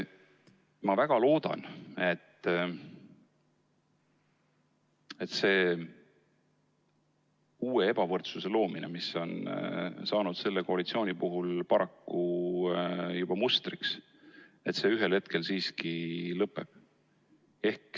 Ma väga loodan, et see uue ebavõrdsuse loomine, mis on saanud selle koalitsiooni puhul paraku juba mustriks, ühel hetkel siiski lõpeb.